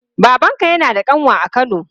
Babanka yana da ƙanwa a kano?